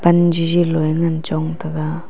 pan jiji loe ngan chong taiga.